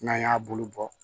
N'an y'a bulu bɔ